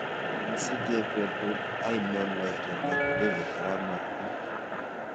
Kigisiche betut ainon laitoriat davis arap maritim